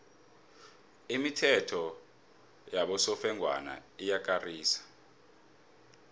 imithetho yabosofengwana iyakarisa